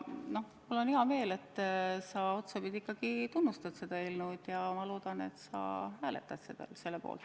Ja mul on hea meel, et sa otsapidi ikkagi tunnustad seda eelnõu, ja ma loodan, et sa hääletad selle poolt.